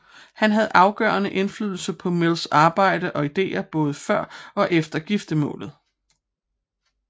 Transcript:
Hun havde afgørende indflydelse på Mills arbejder og ideer både før og efter giftermålet